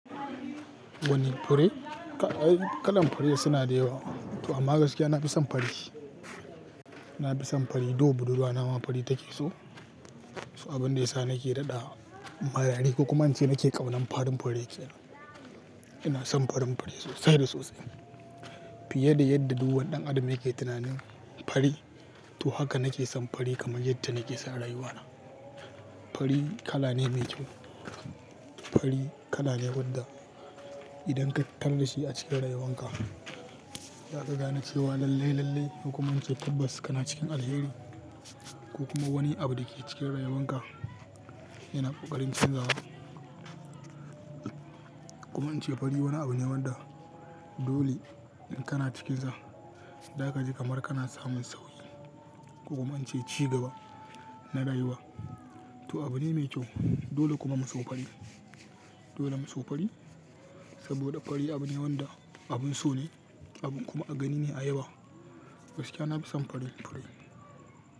Wani fure, kalar fure suna da yawa. To amma gaskiya na fi son fari. Na fi son fari, don budurwa, nama fari take so. Abin da ya sa nake raɗa, kuma ance nake ƙaunar farin fure kenan. Ina son farin fure sosai da sosai, fiye da yadda duk wani dan adam yake tunanin fari, to haka nake son fari fiye da rayuwana Fure kala ne mai kyau. Fari kala ne wanda idan ka tarar dashi a cikin rayuwanka, za ka gane cewa lalle-lalle, ko kuma muce tabbas ka na cikin alheri ko kuma wani abu da ke cikin rayuwanka yana ƙokarin chanjawa. Kuma in ce fari wani abu ne wanda dole in kana cikinsa, za ka ji kamar kana samun sauhi. Ko kuma in ce cigaba na rayuwa. To abu ne mai kyau. Dole kuma mu so fure. Dole mu so fari saboda fari abu ne wanda abin so ne, abin kuma a gani ne a yawa. Gaskiya na fi son farin fure.